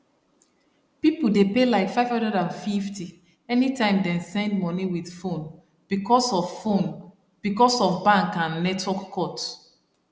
people dey pay like 550 anytime dem send money with phone because of phone because of bank and network cut